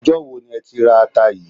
Ọjà wo ni ẹ ti ra ata yìí?